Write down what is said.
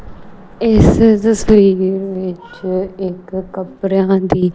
ਇੱਸ ਤਸਵੀਰ ਵਿੱਚ ਇੱਕ ਕਪੜਿਆਂ ਦੀ--